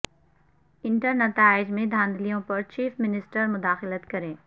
inter نتائج میں دھاندلیوں پر چیف منسٹر مداخلت کریں